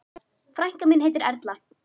Frænka mín heitir Erla.